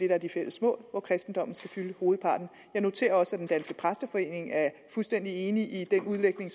er de fælles mål hvor kristendommen skal fylde hovedparten jeg noterer også at præsteforeningen er fuldstændig enig i den udlægning